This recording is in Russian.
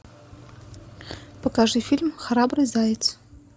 покажи фильм храбрый заяц